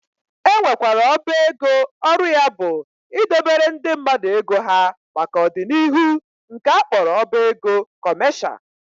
E nwekwara ọba ego ọrụ ya bụ idobere ndị mmadụ ego ha maka ọ dị n'ihu nke a kpọrọ ọba ego kọmesha